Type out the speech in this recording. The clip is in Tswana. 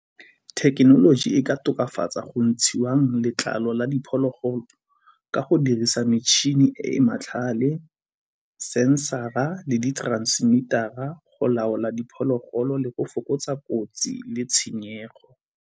Thekenoloji e ka tokafatsa go ntshiwang letlalo la diphologolo ka go dirisa metšhini e e matlhale, sensor-ra le di-transmitter-ra go laola diphologolo le go fokotsa kotsi le tshenyego.